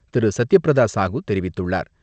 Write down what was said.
திரு.சத்தியபிரதா சாகு தெரிவித்துள்ளார்.